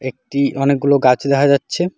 একটি অনেকগুলো গাছ দেখা যাচ্ছে।